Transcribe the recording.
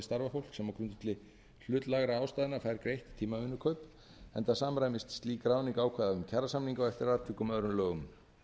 og sveitarfélaga til að ráða til starfa fólk sem á grundvelli hlutlægra ástæðna fær greitt tímavinnukaup enda samræmist slík ráðning ákvæðum kjarasamninga og eftir atvikum öðrum lögum